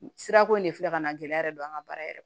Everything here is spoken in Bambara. Sirako in de filɛ ka na gɛlɛya yɛrɛ don an ka baara yɛrɛ